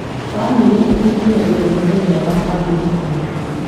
Bamĩrĩ ĩkũngũyagĩra mũthenya wa bamĩrĩ hamwe.